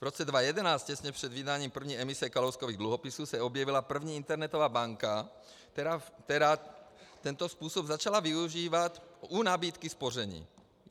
V roce 2011, těsně před vydáním první emise Kalouskových dluhopisů, se objevila první internetová banka, která tento způsob začala využívat u nabídky spoření.